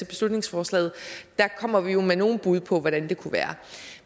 beslutningsforslaget kommer vi jo med nogle bud på hvordan det kunne være